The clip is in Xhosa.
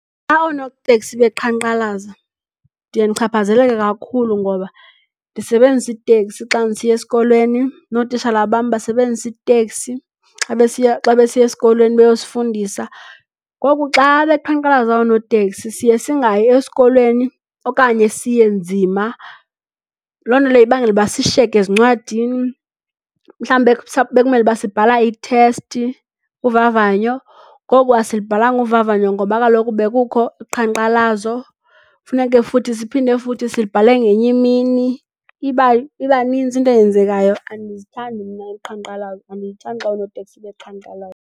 Xa oonoteksi beqhankqalaza ndiye ndichaphazeleke kakhulu ngoba ndisebenzisa iteksi xa ndisiya esikolweni nootitshala bam basebenzisa iteksi xa besiya esikolweni beyosifundisa. Ngoku xa beqhankqalaza oonoteksi siye singayi esikolweni okanye siye nzima. Loo nto leyo ibangela ukuba sishiyeke ezincwadini. Mhlawumbi bekumele ukuba sibhala ithesti, uvavanyo ngoku asilubhalanga uvavanyo ngoba kaloku bekukho uqhankqalazo. Funeke futhi siphinde futhi sibhale ngenye imini iba nintsi into eyenzekayo. Andizithandi mna uqhankqalazo. Andiyithandi xa oonoteksi beqhankqalaza.